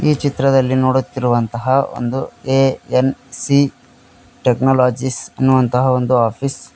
ಈ ಚಿತ್ರದಲ್ಲಿ ನೋಡುತ್ತಿರುವಂತಹ ಒಂದು ಎ ಎನ್ ಸಿ ಟೆಕ್ನೋಲಾಜೀಸ್ ಎನ್ನುವಂತಹ ಒಂದು ಆಫೀಸ್ --